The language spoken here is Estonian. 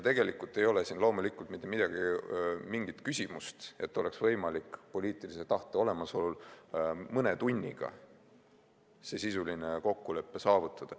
Tegelikult ei ole siin mitte mingit küsimust, et ei oleks võimalik poliitilise tahte olemasolul mõne tunniga see sisuline kokkulepe saavutada.